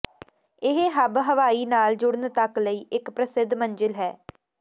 ਇਹ ਹੱਬ ਹਵਾਈ ਨਾਲ ਜੁੜਨ ਤੱਕ ਲਈ ਇੱਕ ਪ੍ਰਸਿੱਧ ਮੰਜ਼ਿਲ ਹੈ